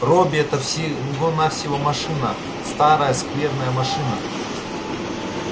робби это всего-навсего машина старая скверная машина